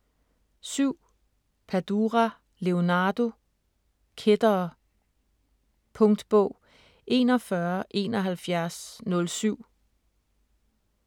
7. Padura, Leonardo: Kættere Punktbog 417107